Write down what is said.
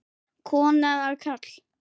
Kona eða karl?